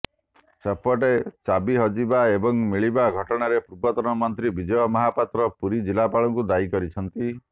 ସେପଟେ ଚାବି ହଜିବା ଏବଂ ମିଳିବା ଘଟଣାରେ ପୂର୍ବତନ ମନ୍ତ୍ରୀ ବିଜୟ ମହାପାତ୍ର ପୁରୀ ଜିଲ୍ଲାପାଳଙ୍କୁ ଦାୟୀ କରିଛନ୍ତି